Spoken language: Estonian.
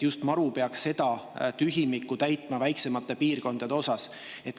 Just MaRu peaks seda tühimikku väiksemates piirkondades täitma.